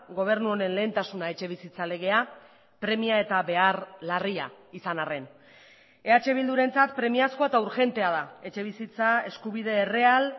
gobernu honen lehentasuna etxebizitza legea premia eta behar larria izan arren eh bildurentzat premiazkoa eta urgentea da etxebizitza eskubide erreal